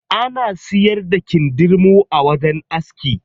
Ana siyar da kindirmo a wajen aski.